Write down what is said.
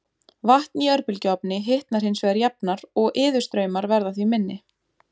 Vatn í örbylgjuofni hitnar hins vegar jafnar og iðustraumar verða því minni.